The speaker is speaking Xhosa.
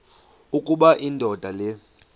ukuba indoda le